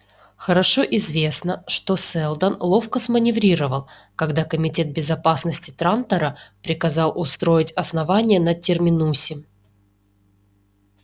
хорошо известно что сэлдон ловко сманеврировал когда комитет безопасности трантора приказал устроить основание на терминусе